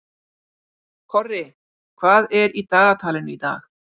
Korri, hvað er í dagatalinu í dag?